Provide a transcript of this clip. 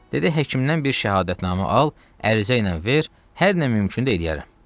Dedi həkimdən bir şəhadətnamə al, ərizə ilə ver, hər nə mümkündür eləyərəm.